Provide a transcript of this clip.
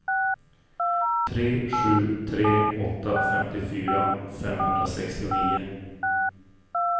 tre sju tre åtta femtiofyra femhundrasextionio